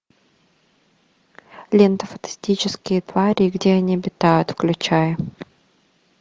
лента фантастические твари и где они обитают включай